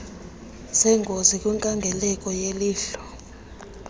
zengozi kwinkangeleko yelihlo